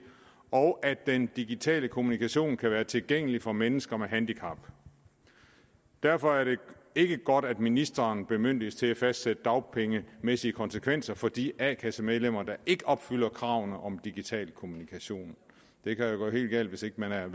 og at den digitale kommunikation kan være tilgængelig for mennesker med handicap derfor er det ikke godt at ministeren bemyndiges til at fastsætte dagpengemæssige konsekvenser for de a kasse medlemmer der ikke opfylder kravene om digital kommunikation det kan jo gå helt galt hvis ikke man er